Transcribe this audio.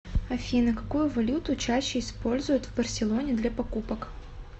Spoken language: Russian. афина какую валюту чаще используют в барселоне для покупок